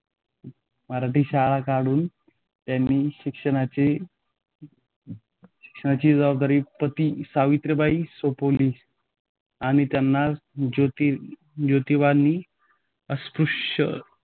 मराठी शाळा काढून तेथील शिक्षिणाची शिक्षिणाची जबाबदारी पत्नी-सावित्रीबाईं सोपविली. आणि यानां जोती जोतीबांन अस्पृश्यांसाठी